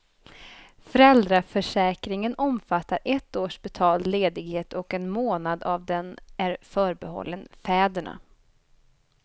Föräldraförsäkringen omfattar ett års betald ledighet och en månad av den är förbehållen fäderna.